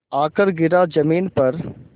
आकर गिरा ज़मीन पर